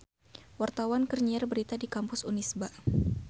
Wartawan keur nyiar berita di Kampus Unisba